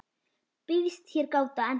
Býðst hér gáta ennþá ein,.